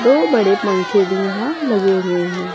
दो बड़े पंखे भी यहां लगे हुए हैं।